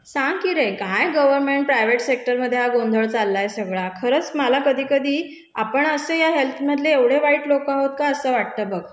सांग की रे, काय गर्व्हनमेंट, प्रायव्हेट सेक्टरमधे हा गोंधळ चाललाय सगळा? खरंच मला कधी कधी आपण असे या हेल्थ मधले एवढे वाईट लोकं आहोत का असं वाटतं बघ?